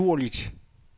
naturligt